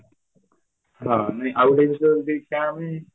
ହଁ ନାଇଁ ଆଉଗୋଟିଏ ଜିନିଷ ଯେମିତି